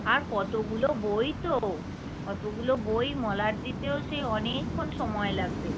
আর কতগুলো বই তো এতগুলো বই মলাট দিতেও সেই অনেক সময় লাগবে